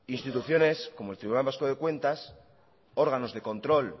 instituciones como el tribunal vasco de cuentas órganos de control